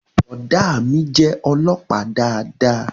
Boda mí jé olópàá dáadáa